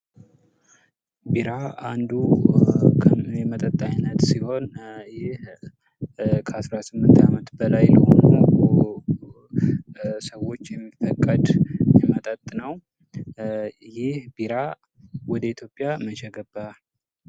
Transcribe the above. ቢራ አንዱ የመጠጥ አይነት ሲሆን ይህ ከአስራስምንት ዓመት በላይ ለሆኑ ሰዎች የሚፈቀድ የመጠጥ ነው ። ይህ ቢራ ወደ ኢትዮጵያ መቼ ገባ ?